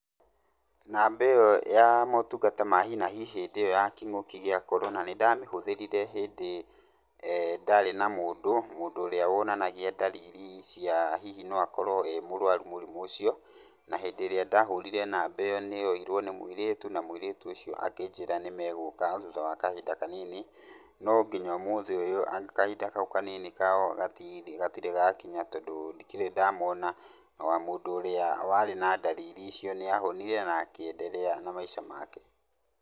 Namba ĩyo ya motungata ma hi na hi hĩndĩ ĩyo ya kĩng'ũki gĩa Corona nĩ ndamĩhũthĩrire hĩndĩ ndarĩ na mũndũ, mũndũ ũrĩa wonanagia ndariri cia hihi no akorwo e mũrwaru mũrimũ ũcio. Na hĩndĩ ĩrĩa ndahũrire namba ĩyo nĩyoirwo nĩ mũirĩtu na mũirĩtu ũcio akĩnjĩra nĩ megũka thutha wa kahinda kanini. No nginya ũmũthĩ ũyũ kahinda kau kanini kao gatirĩ gakinya tondũ ndikĩrĩ ndamona tondũ ona mũndũ ũrĩa warĩ na ndariri icio nĩ ahonire na akĩenderea na maica make.